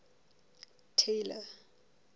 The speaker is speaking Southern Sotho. tailor